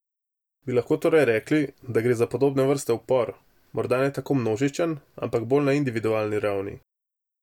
Bi lahko torej rekli, da gre za podobne vrste upor, morda ne tako množičen, ampak bolj na individualni ravni?